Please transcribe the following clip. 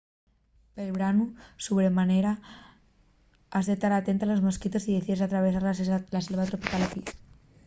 pel branu sobre manera has de tar atenta a los mosquitos si decides atravesar la selva tropical a pie